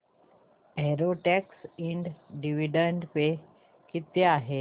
Everest Ind dividend pay किती आहे